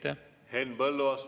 Henn Põlluaas, palun!